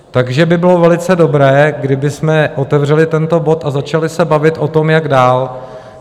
Takže by bylo velice dobré, kdybychom otevřeli tento bod a začali se bavit o tom, jak dál.